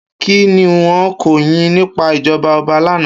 Ki niwòn kò yin nipá ijòbá òbá làná?